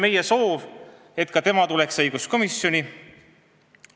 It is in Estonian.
Meie soov oli, et ka tema tuleks õiguskomisjoni istungile.